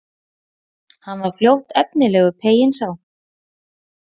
Hann var fljótt efnilegur, peyinn sá.